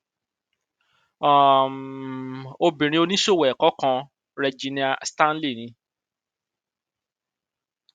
um obìnrin oníṣòwò ẹkọ kan regina stanley ni